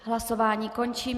Hlasování končím.